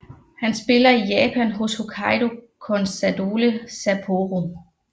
Han spiller i Japan hos Hokkaido Consadole Sapporo